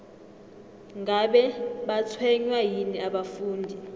ngabe batshwenywa yini abafundi